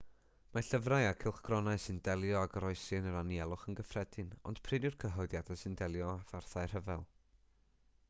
mae llyfrau a chylchgronau sy'n delio â goroesi yn yr anialwch yn gyffredin ond prin yw'r cyhoeddiadau sy'n delio â pharthau rhyfel